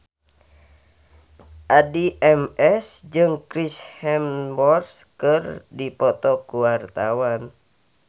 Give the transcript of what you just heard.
Addie MS jeung Chris Hemsworth keur dipoto ku wartawan